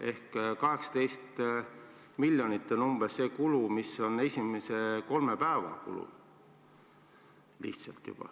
Ehk umbes 18 miljonit on see kulu, mis on juba esimese kolme päeva eest.